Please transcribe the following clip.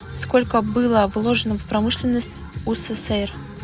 сколько было вложено в промышленность усср